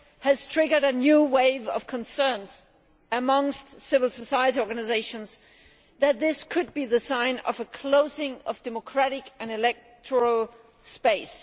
has triggered a new wave of concerns amongst civil society organisations that this could be the sign of a closing of democratic and electoral space.